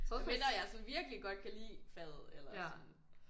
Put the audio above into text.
Medmindre jeg sådan virkelig godt kan lide faget eller